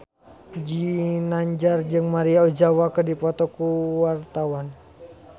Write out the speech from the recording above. Ginanjar jeung Maria Ozawa keur dipoto ku wartawan